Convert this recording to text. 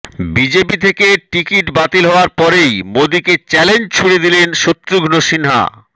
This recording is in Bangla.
বিজেপি থেকে টিকিট বাতিল হওয়ার পরেই মোদীকে চ্যালেঞ্জ ছুড়ে দিলেন শত্রুঘ্ন সিনহা